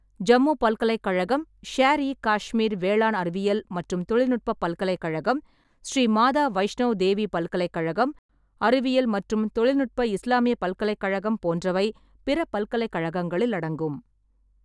ஜம்மு பல்கலைக்கழகம், ஷேர்-இ-காஷ்மீர் வேளாண் அறிவியல் மற்றும் தொழில்நுட்ப பல்கலைக்கழகம், ஸ்ரீ மாதா வைஷ்நவ் தேவி பல்கலைக்கழகம், அறிவியல் மற்றும் தொழில்நுட்ப இஸ்லாமிய பல்கலைக்கழகம் போன்றவை பிற பல்கலைக்கழகங்களில் அடங்கும்.